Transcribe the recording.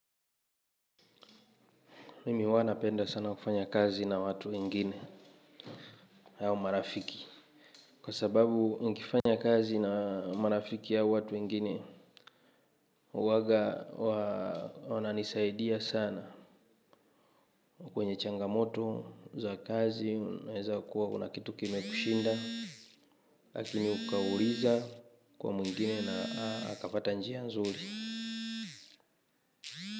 Mimi huwa napenda sana kufanya kazi na watu wengine, au marafiki. Kwa sababu nikifanya kazi na marafiki au watu wengine huwanga wananisaidia sana, kwenye changamoto za kazi. Unaeza kuwa kuna kitu kimekushinda. Lakini ukauliza kwa mwingine na akapata njia nzuri.